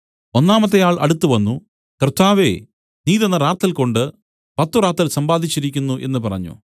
ഒന്നാമത്തെ ആൾ അടുത്തുവന്നു കർത്താവേ നീ തന്ന റാത്തൽകൊണ്ടു പത്തുറാത്തൽ സമ്പാദിച്ചിരിക്കുന്നു എന്നു പറഞ്ഞു